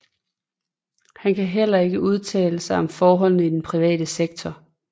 Han kan hellere ikke udtale sig om forhold i den private sektor